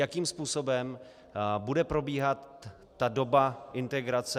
Jakým způsobem bude probíhat ta doba integrace.